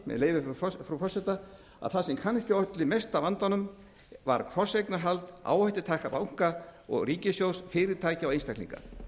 leyfi frú forseta að það sem kannski olli mesta vandanum var krosseignarhald áhættutaka banka og ríkissjóðs fyrirtækja og einstaklinga